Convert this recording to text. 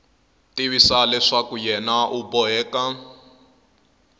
tivisa leswaku yena u boheka